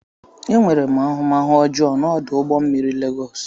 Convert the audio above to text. Enwere m ahụmahụ ọjọọ na ọdụ ụgbọ mmiri Lagos.